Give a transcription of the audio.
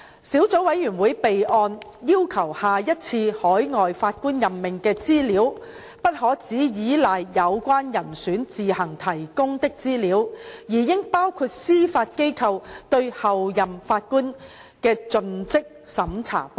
小組委員會備案要求下一次海外法官任命的資料，不可只倚賴有關人選自行提供的資料，而應包括司法機構對候任法官的盡職審查報告。